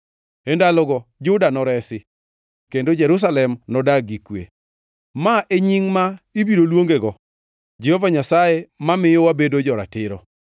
E ndalogo Juda noresi kendo Jerusalem nodag gi kwe. Ma e nying ma ibiro luongego: Jehova Nyasaye mamiyo wabedo jo-ratiro.’